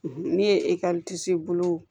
Ne ye bolo